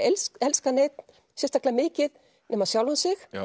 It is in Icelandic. elskað neinn sérstaklega mikið nema sjálfan sig